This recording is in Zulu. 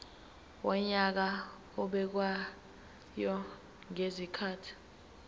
wonyaka obekwayo ngezikhathi